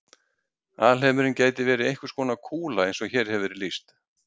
Alheimurinn gæti verið einhvers konar kúla eins og hér hefur verið lýst.